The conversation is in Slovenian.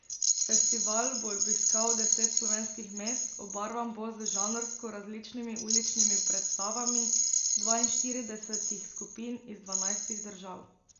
Festival bo obiskal deset slovenskih mest, obarvan bo z žanrsko različnimi uličnimi predstavami dvainštiridesetih skupin iz dvanajstih držav.